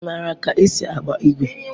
Ị maara ka esi agba igwe?